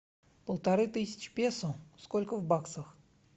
полторы тысячи песо сколько в баксах